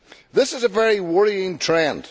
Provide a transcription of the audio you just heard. This is a very worrying trend.